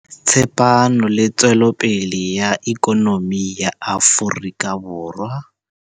tsepamo le tswelopele ya ikonomi ya Aforika Borwa.